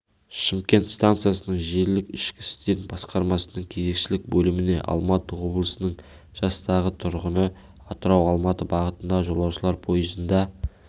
шымкент стансасының желілік ішкі істер басқармасының кезекшілік бөліміне алматы облысының жастағы тұрғыны атырау-алматы бағытындағы жолаушылар пойызында